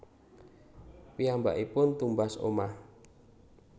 Piyambakipun tumbas omah